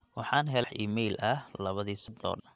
waxaan helay wah iimayl ah labadii sacadood ee lasoo dhaafay